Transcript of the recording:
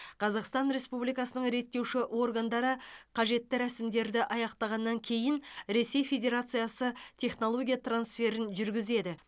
қазақстан республикасының реттеуші органдары қажетті рәсімдерді аяқтағаннан кейін ресей федерациясы технология трансферін жүргізеді